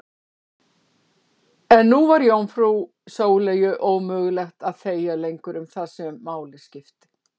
En nú var jómfrú Sóleyju ómögulegt að þegja lengur um það sem máli skipti.